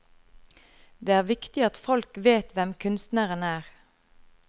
Det er viktig at folk vet hvem kunstneren er.